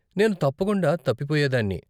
నేను తప్పకుండా తప్పిపోయేదాన్ని.